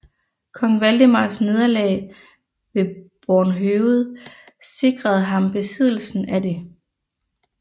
Kong Valdemars nederlag ved Bornhøved sikrede ham besiddelsen af det